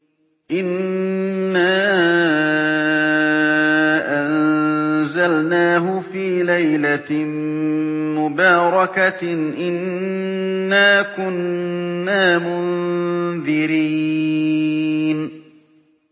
إِنَّا أَنزَلْنَاهُ فِي لَيْلَةٍ مُّبَارَكَةٍ ۚ إِنَّا كُنَّا مُنذِرِينَ